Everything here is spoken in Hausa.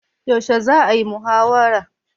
Yaushe za'a yi muhawarar?